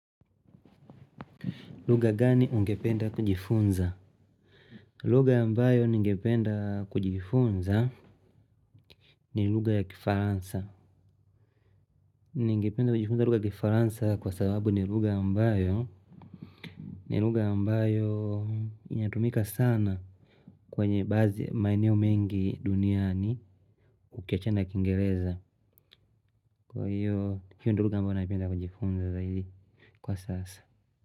Lugha gani ungependa kujifunza? Lugha ambayo ningependa kujifunza ni lugha ya Kifaransa. Ningependa kujifunza lugha ya Kifaransa kwa sababu ni lugha ambayo, ni lugha ambayo inatumika sana kwenye baadhi ya maeneo mengi duniani ukiachana ya kiingereza. Kwa hiyo hio lugha ambayo ningependa kujifunza zaidi kwa sasa.